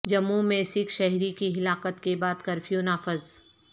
جموں میں سکھ شہری کی ہلاکت کے بعد کرفیو نافذ